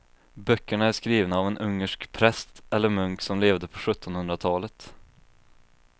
Böckerna är skrivna av en ungersk präst eller munk som levde på sjuttonhundratalet.